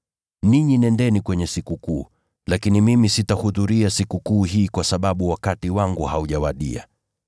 Ninyi nendeni kwenye Sikukuu, lakini mimi sitahudhuria Sikukuu hii kwa sababu wakati wangu haujawadia.”